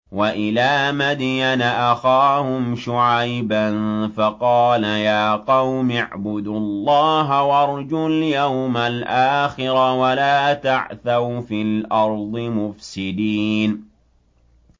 وَإِلَىٰ مَدْيَنَ أَخَاهُمْ شُعَيْبًا فَقَالَ يَا قَوْمِ اعْبُدُوا اللَّهَ وَارْجُوا الْيَوْمَ الْآخِرَ وَلَا تَعْثَوْا فِي الْأَرْضِ مُفْسِدِينَ